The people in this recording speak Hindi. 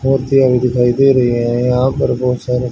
औरतें अभी दिखाई दे रही है यहां पर बहोत सारे--